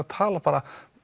tala